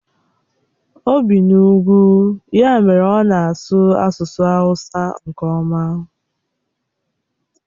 O bi n'ugwu, ya mere ọ na-asụ asusu hawusa nke oma.